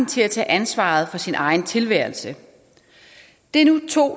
til at tage ansvaret for sin egen tilværelse det er nu to